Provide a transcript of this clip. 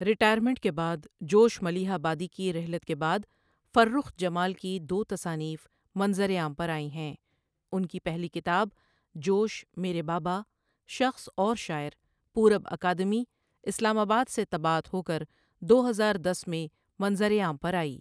Retirement کے بعد Josh Malihabadi کی رحلت کے بعد فرخ جمالؔ کی دو تصانیف منظرِ عام پر آئیں ہیں اُن کی پہلی کتاب جوشؔ میرے بابا، شخص اور شاعر پورب اکادمی، اسلام آباد سے طباعت ہو کر دو ہزار دس میں منظرِعام پرآئی۔